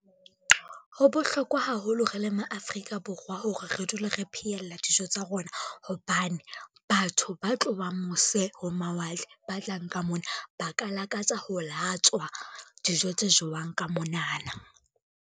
Ho bohlokwa haholo re le ma Afrika Borwa hore re dule re pheyella dijo tsa rona, hobane batho ba tlowang mose ho mawatle, ba tlang ka mona ba ka lakatsa ho latswa dijo tse jewang ka monana.